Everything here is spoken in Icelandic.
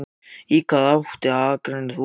Viggó: Í hvaða íþróttagrein ert þú?